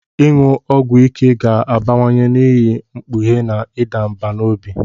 Ịṅụ ọgwụ ike ga-abawanye n'ihi mkpughe na ịda mbà n'obi.